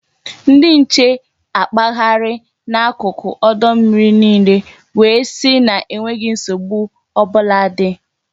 Ndị nche akpagharịa na n'akụkụ ọdụ mmiri niile wee sị na enweghi nsogbu ọbụla dị